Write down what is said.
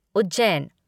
Ujjain